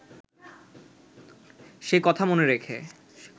সে কথা মনে রেখে